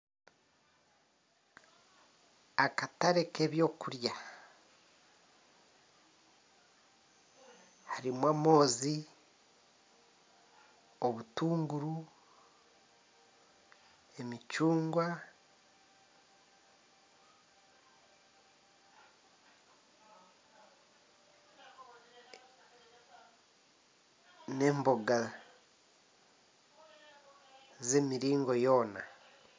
Akatare k'ebyokurya harimu amoozi, emicuungwa, obutunguuru n'emboga z'emiringo yoona